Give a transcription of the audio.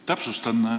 Täpsustan.